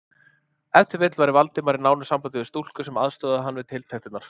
Ef til vill væri Valdimar í nánu sambandi við stúlku, sem aðstoðaði hann við tiltektirnar?